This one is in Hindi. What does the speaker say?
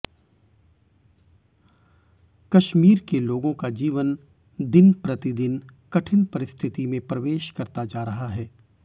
कश्मीर के लोगों का जीवन दिन प्रतिदिन कठिन परिस्थिति में प्रवेश करता जा रहा है